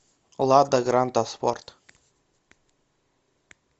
лада гранта спорт